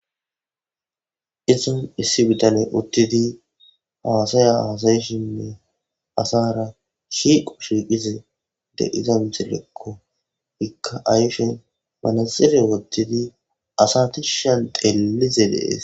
Issi so issi bitaney utidi hasaya haasa'she asara shiqqo shiqiza de'iza misilekko izikka ayfen manaxire wothidi asa tishan xelishe de'es.